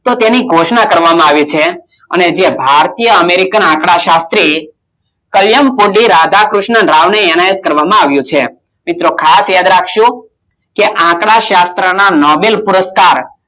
તો તેની ઘોષણા કરવામાં આવી છે કે ભારતીય અમેરિકન આંક્ડાશાત્રી કલમ કૂતી રાધાક્રિષ્ન રાવલે આવિયા છે મિત્રો ખાસ યાદ રાખજો આંકડાશાસ્ત્ર નો નાવીલ પુરુષકાર